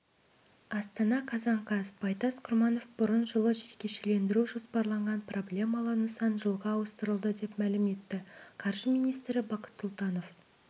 астана қазан қаз байтас құрманов бұрын жылы жекешелендіру жоспарланған проблемалы нысан жылға ауыстырылды деп мәлім етті қаржы министрі бақыт сұлтанов